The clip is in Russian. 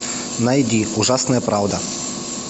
найди ужасная правда